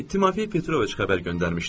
İtimafei Petroviç xəbər göndərmişdi.